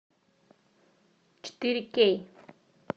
четыре кей